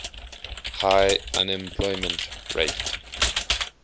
high unemployment rate